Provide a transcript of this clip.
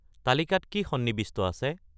তালিকাত কি সন্নিৱিষ্ট আছে